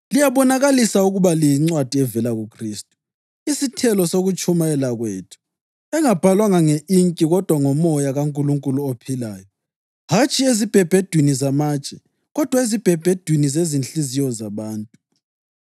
Liyabonakalisa ukuba liyincwadi evela kuKhristu, isithelo sokutshumayela kwethu, engabhalwanga nge-inki kodwa ngoMoya kaNkulunkulu ophilayo, hatshi ezibhebhedwini zamatshe kodwa ezibhebhedwini zezinhliziyo zabantu.